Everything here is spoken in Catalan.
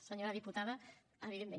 senyora diputada evidentment